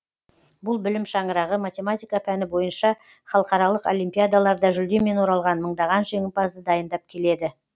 бұл білім шаңырағы математика пәні бойынша халықаралық олимпиадаларда жүлдемен оралған мыңдаған жеңімпазды дайындап келеді